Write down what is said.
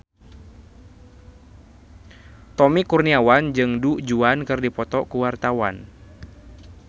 Tommy Kurniawan jeung Du Juan keur dipoto ku wartawan